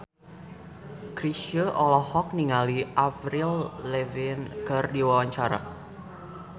Chrisye olohok ningali Avril Lavigne keur diwawancara